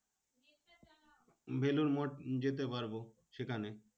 বেলুড় মঠ যেতে পারবো সেখানে।